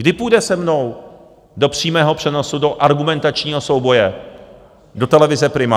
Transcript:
Kdy půjde se mnou do přímého přenosu do argumentačního souboje do televize Prima?